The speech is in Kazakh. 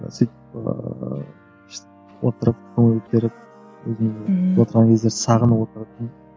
сөйтіп ыыы отырып көңіл көтеріп өзіңді сағынып отыратын